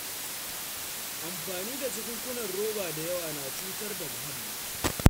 Amfani da jakunkunan roba da yawa na cutar da muhalli.